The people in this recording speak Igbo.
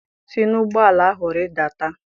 si n'ụgbọ ala ahụ rịdata!